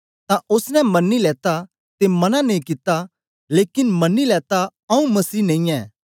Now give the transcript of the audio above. तां ओसने मनी लेता ते मना नेई कित्ता लेकन मनी लेता आऊँ मसीह नेई ऐं